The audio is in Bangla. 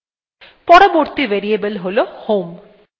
পরবর্তী variable হল home